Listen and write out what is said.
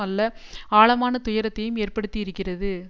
அல்ல ஆழமான துயரத்தையும் ஏற்படுத்தி இருக்கிறது